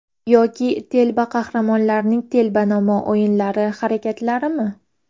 Yoki telba qahramonlarning telbanamo o‘ylari, harakatlarimi?